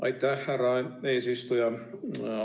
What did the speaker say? Aitäh, härra eesistuja!